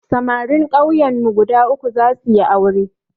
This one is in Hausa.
Samarin kauyen mu guda uku za suyi aure